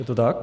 Je to tak?